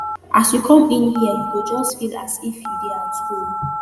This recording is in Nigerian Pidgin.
as you come in here you go just feel as if you dey at home